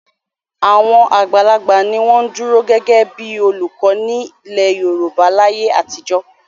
Àwọn àgbàlagbà ni wọ́n ń dúró gẹ́gẹ́ bí i olùkọ́ nílẹ̀ Yorùbá láyé àtijọ́.